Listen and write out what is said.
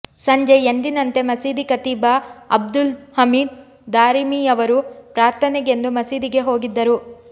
ಸಂಜೆ ಎಂದಿನಂತೆ ಮಸೀದಿ ಖತೀಬ ಅಬ್ದುಲ್ ಹಮೀದ್ ದಾರಿಮಿಯವರು ಪ್ರಾರ್ಥನೆಗೆಂದು ಮಸೀದಿಗೆ ಹೋಗಿದ್ದರು